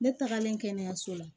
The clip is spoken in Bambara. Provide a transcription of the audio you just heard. Ne tagalen kɛnɛyaso la